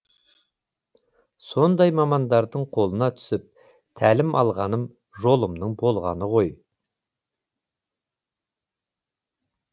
сондай мамандардың қолына түсіп тәлім алғаным жолымның болғаны ғой